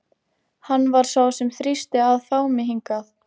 Hann var sá sem þrýsti á að fá mig hingað.